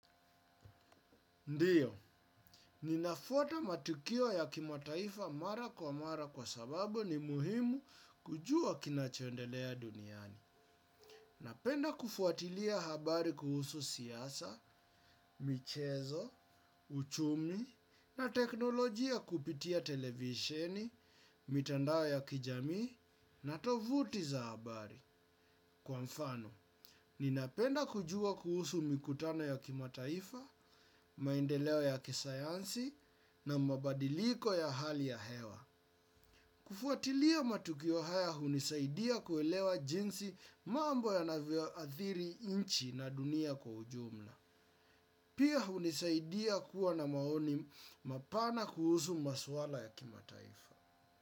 Ndiyo, ninafuata matukio ya kimataifa mara kwa mara kwa sababu ni muhimu kujua kinachoendelea duniani. Napenda kufuatilia habari kuhusu siasa, michezo, uchumi, na teknolojia kupitia televisheni, mitandao ya kijamii, na tovuti za habari. Kwa mfano, ninapenda kujua kuhusu mikutano ya kimataifa, maendeleo ya kisayansi na mabadiliko ya hali ya hewa. Kufuatilia matukio haya hunisaidia kuelewa jinsi mambo ya navioathiri nchi na dunia kwa ujumla. Pia hunisaidia kuwa na maoni mapana kuhusu maswala ya kimataifa.